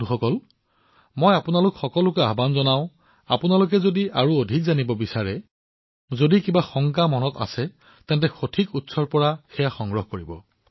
বন্ধুসকল মই আপোনালোক সকলোকে অনুৰোধ জনাইছো যদি আপোনাক কোনো তথ্যৰ প্ৰয়োজন হয় আন কোনো আশংকা আচে তেন্তে সঠিক উৎসৰ পৰা তথ্য প্ৰাপ্ত কৰক